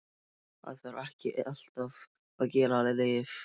Það þarf ekki alltaf að gefa lyf.